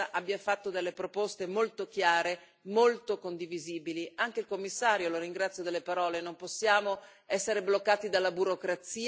Io credo che il collega Kefalogiannis abbia fatto delle proposte molto chiare, molto condivisibili, come anche il Commissario, che ringrazio per le sue parole.